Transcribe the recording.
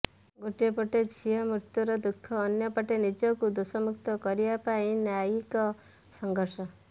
ଗୋଟିଏ ପଟେ ଝିଅ ମୃତ୍ୟୁର ଦୁଃଖ ଅନ୍ୟପଟେ ନିଜକୁ ଦୋଷମୁକ୍ତ କରିବା ପାଇଁ ନ୍ୟାୟିକ ସଂଘର୍ଷ